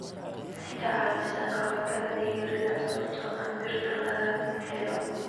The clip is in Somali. Waxay ka caawisaa ka hortagga dhiig-yarida sababtoo ah birta laga helo.